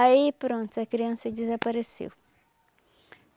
Aí pronto, a criança desapareceu.